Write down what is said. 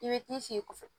I bɛ t'i sigi kɔfɛ